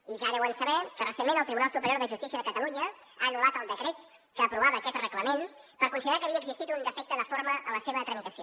i ja deuen saber que recentment el tribunal superior de justícia de catalunya ha anul·lat el decret que aprovava aquest reglament per considerar que havia existit un defecte de forma en la seva tramitació